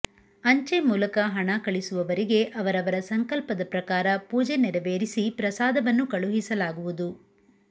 ಅಂಚೆ ಮೂಲಕ ಹಣ ಕಳಿಸುವವರಿಗೆ ಅವರವರ ಸಂಕಲ್ಪದ ಪ್ರಕಾರ ಪೂಜೆ ನೆರವೇರಿಸಿ ಪ್ರಸಾದವನ್ನು ಕಳುಹಿಸಲಾಗುವುದು